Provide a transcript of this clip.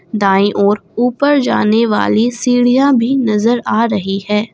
दाएं ओर ऊपर जाने वाली सीढ़ियां भी नजर आ रही है।